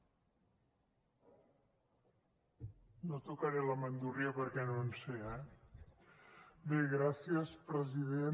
no tocaré la bandúrria perquè no en sé eh bé gràcies president